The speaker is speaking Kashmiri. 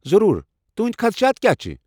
ضروٗر، تہٕنٛدۍ خدشات کیٛاہ چھِ؟